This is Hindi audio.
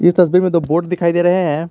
इस तस्वीर में तो बोट दिखाई दे रहे हैं।